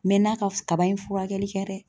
N mɛɛnna kaba in furakɛli kɛ dɛ.